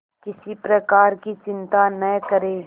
किसी प्रकार की चिंता न करें